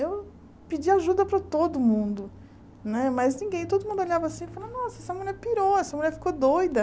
Eu pedia ajuda para todo mundo, né mas ninguém, todo mundo olhava assim e falava nossa, essa mulher pirou, essa mulher ficou doida.